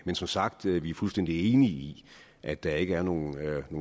men som sagt er vi fuldstændig enige i at der ikke er nogen